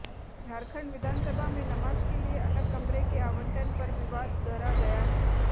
झारखंड विधानसभा में नमाज के लिए अलग कमरे के आवंटन पर विवाद गहरा गया है